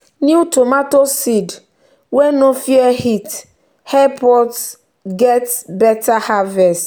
new tomato seed wey no dey fear heat help us get better harvest.